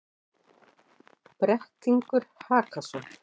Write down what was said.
Brettingur Hakason,